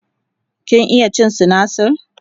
kin iya cin sinasir?